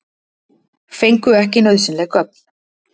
Fengu ekki nauðsynleg gögn